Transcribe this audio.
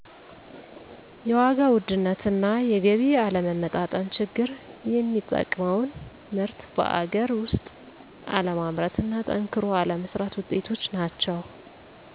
የዋጋ ውድነት እና የገቢ አለመመጣጠን ችግር የምንጠቀመውን ምርት በአገር ውስጥ አለማምረት እና ጠንክሮ አለመስራት ውጤቶች ናቸው